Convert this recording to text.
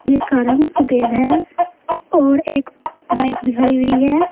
जिसका रंग सफेद है और एक बाइक भी खड़ी हुई है।